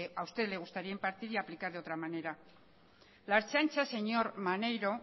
a usted le gustaría impartir y aplicar de otra manera la ertzaintza señor maneiro